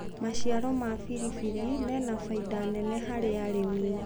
maciaro ma biribiri mena baida nene harĩ arĩmi